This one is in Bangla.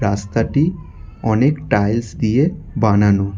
রাস্তাটি অনেক টাইলস দিয়ে বানানো।